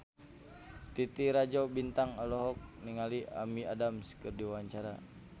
Titi Rajo Bintang olohok ningali Amy Adams keur diwawancara